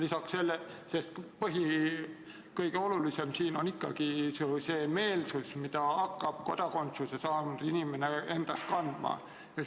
Sest kõige olulisem on ju ikkagi meelsus, mida kodakondsuse saanud inimene endas kandma hakkab.